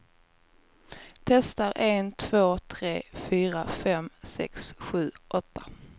Testar en två tre fyra fem sex sju åtta.